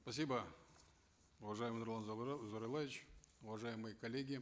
спасибо уважаемый нурлан зайроллаевич уважаемые коллеги